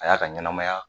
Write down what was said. A y'a ka ɲɛnamaya